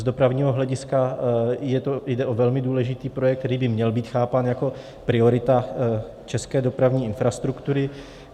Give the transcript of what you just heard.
Z dopravního hlediska jde o velmi důležitý projekt, který by měl být chápán jako priorita české dopravní infrastruktury.